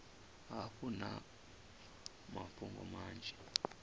hafhu vha na mafhungo manzhi